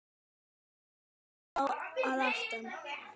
Sítt hár að aftan.